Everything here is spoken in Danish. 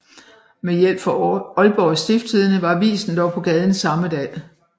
Med hjælp fra Aalborg Stiftstidende var avisen dog på gaden samme dag